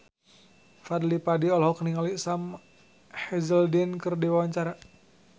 Fadly Padi olohok ningali Sam Hazeldine keur diwawancara